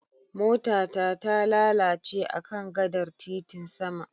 Mota ta talalace akan gadar titin sama.